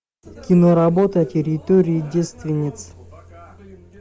киноработа территория девственниц